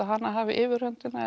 hana hafa yfirhöndina